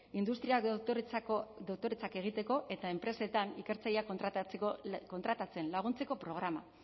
industria doktoretzak egiteko eta enpresetan ikertzaileak kontratatzen laguntzeko programa